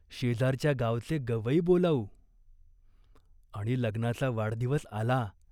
शेजारच्या गावचे गवई बोलावू." आणि लग्नाचा वाढदिवस आला.